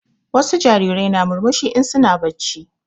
Wasu jarirai na murmushi in su na bacci